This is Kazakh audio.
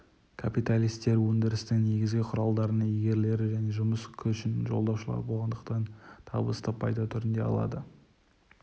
капиталистер өндірістің негізгі құралдарының иегерлері және жұмыс күшін жалдаушылар болғандықтан табысты пайда түрінде алады